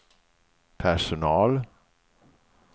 personal